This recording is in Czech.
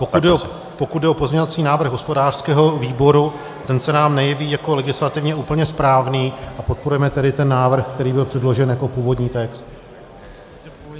Pokud jde o pozměňovací návrh hospodářského výboru, ten se nám nejeví jako legislativně úplně správný, a podporujeme tedy ten návrh, který byl předložen jako původní text.